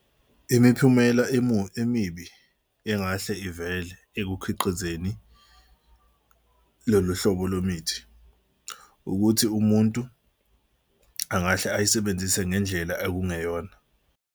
Imiphumela emibi engahle ivele ekukhiqizeni lolu hlobo lwemithi ukuthi umuntu angahle ayisebenzise ngendlela okungeyona.